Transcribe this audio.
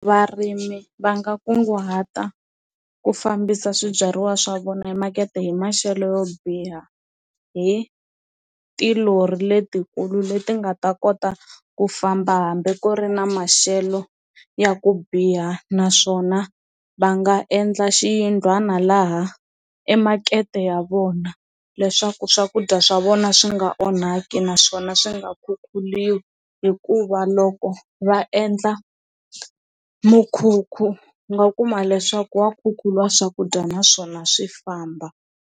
Varimi va nga kunguhata ku fambisa swibyariwa swa vona hi makete hi maxelo yo biha hi tilori letikulu leti nga ta kota ku famba hambi ku ri na maxelo ya ku biha naswona va nga endla xiyindlwana laha emakete ya vona leswaku swakudya swa vona swi nga onhaki naswona swi nga khukhuriwi hikuva loko va endla mukhukhu u nga kuma leswaku wa khukhuriwa swakudya naswona swi famba.